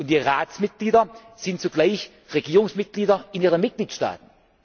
Die Ratsmitglieder sind zugleich Regierungsmitglieder in ihren Mitgliedstaaten.